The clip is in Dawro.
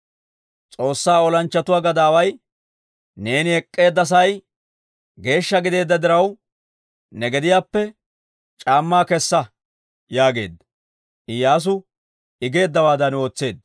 S'oossaa olanchchatuwaa gadaaway, «Neeni ek'k'eedda sa'ay geeshsha gideedda diraw, ne gediyaappe c'aammaa kessa» yaageedda. Iyyaasu I geeddawaadan ootseedda.